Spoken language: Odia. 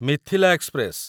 ମିଥିଲା ଏକ୍ସପ୍ରେସ